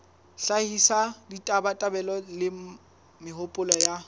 hlahisa ditabatabelo le mehopolo ya